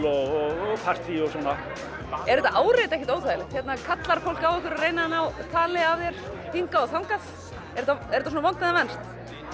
og partí og svona er þetta áreiti ekkert óþægilegt hérna kallar fólk á ykkur og reynir að ná tali af þér hingað og þangað er þetta svona vont en venst